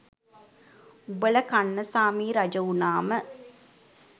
උඹල කන්නසාමි රජ වුනාම